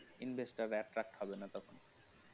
investor একা খাবেনা তখন